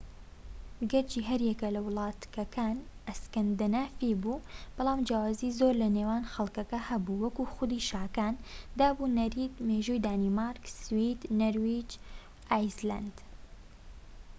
گەرچی هەر یەک لە وڵاتەککان 'ئەسکەندەنافی' بوو ، بەڵام جیاوازی زۆر لە نێوان خەڵکەکە هەبوو وەک خودی شاکان، داب و نەریت، مێژووی دانمارک، سوید، نەرویج و ئایسلەندا